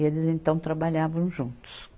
E eles então trabalhavam juntos.